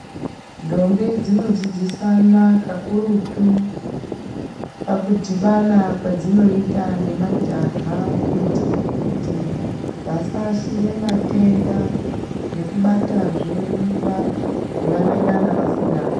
Ntombi dzinodzidzisana kakurutu pakudhibana kwedzinoita nemajaha kuitire kuti vasa ashire matenda nekubatazve mimba yavanengana vasingadi.